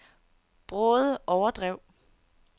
Bråde Overdrev